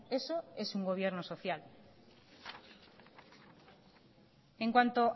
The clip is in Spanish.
eso es un gobierno social en cuanto